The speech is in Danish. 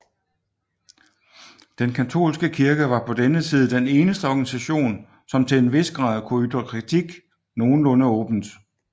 Den katolske kirke var på denne tid den eneste organisation som til en vis grad kunne ytre kritik nogenlunde åbent